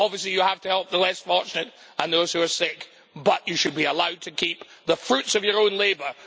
Obviously, you have to help the less fortunate and those who are sick, but you should be allowed to keep the fruits of your own labour.